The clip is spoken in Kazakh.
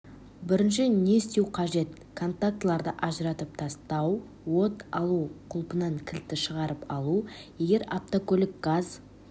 бірінші не істеу қажет контактыларды ажыратып тастау от алу құлпынан кілтті шығарып алу егер автокөлік газ